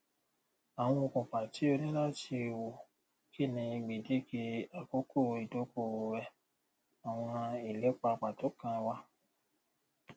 àwọn okùnfà tí o ní láti wò kí ni gbèdéke àkókò ìdókòòwò rẹ àwọn ìlépa pàtó kan wà